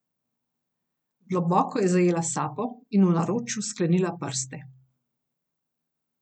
Globoko je zajela sapo in v naročju sklenila prste.